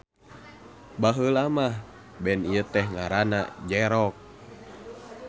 Baheula mah band ieu teh ngaranna J-Rock.